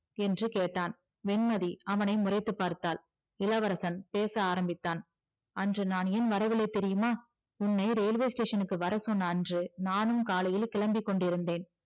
என்று கேட்டான் அவனை முறைத்து பார்த்தால் இளவரசன் பேச ஆரம்பிச்சான் அன்று நான் ஏன் வரவில்லை தெரியுமா உன்னை railway station க்கு வரசொன்ன அன்று நானும் காலையில் கிளம்பிக்கொண்டு இருந்தேன்